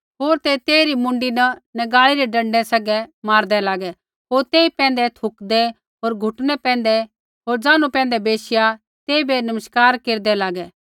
होर ते तेइरी मुँडी न नगाल़ी रै डँडै सैंघै मारदै होर तेई पैंधै थूकदे होर घुटनै पैंधै बैशिया तेइबै नमस्कार केरदै लागे